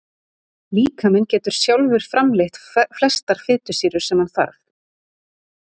Líkaminn getur sjálfur framleitt flestar fitusýrur sem hann þarf.